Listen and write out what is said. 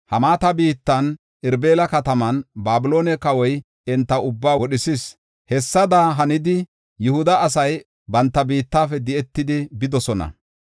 Hamaata biittan, Irbila kataman, Babiloone kawoy enta ubbaa wodhisis. Hessada hanidi, Yihuda asay banta biittafe di7etidi bidosona.